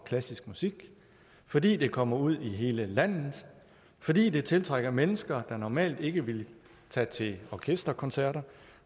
klassiske musik fordi det kommer ud i hele landet fordi det tiltrækker mennesker der normalt ikke ville tage til orkesterkoncerter